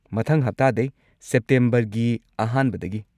ꯃꯊꯪ ꯍꯞꯇꯥꯗꯩ, ꯁꯦꯞꯇꯦꯝꯕꯔꯒꯤ ꯑꯍꯥꯟꯕꯗꯒꯤ꯫